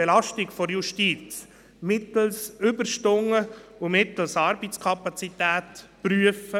Wer unserer Fraktion unterstellt, wir würden vertrauen, hat nicht zugehört.